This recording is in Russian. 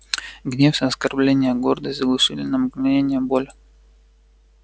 гнев и оскорблённая гордость заглушили на мгновение боль